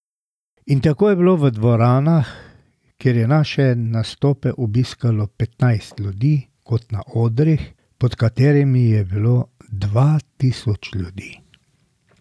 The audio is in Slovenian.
In tako je bilo v dvoranah, kjer je naše nastope obiskalo petnajst ljudi, kot na odrih, pod katerimi je bilo dva tisoč ljudi.